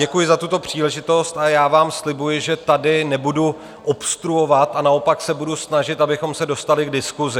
Děkuji za tuto příležitost a já vám slibuji, že tady nebudu obstruovat, a naopak se budu snažit, abychom se dostali k diskusi.